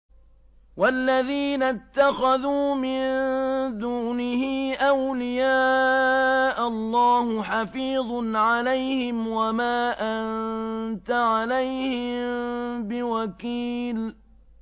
وَالَّذِينَ اتَّخَذُوا مِن دُونِهِ أَوْلِيَاءَ اللَّهُ حَفِيظٌ عَلَيْهِمْ وَمَا أَنتَ عَلَيْهِم بِوَكِيلٍ